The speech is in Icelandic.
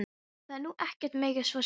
Það er nú ekkert mikið svo sem.